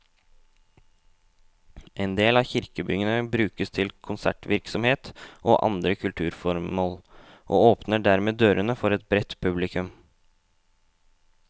En del av kirkebyggene brukes til konsertvirksomhet og andre kulturformål, og åpner dermed dørene for et bredt publikum.